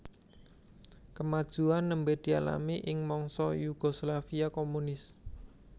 Kamajuan nembé dialami ing mangsa Yugoslavia komunis